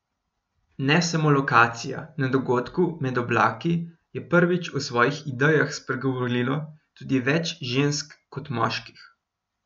Ne samo lokacija, na dogodku med oblaki je prvič o svojih idejah spregovorilo tudi več žensk kot moških.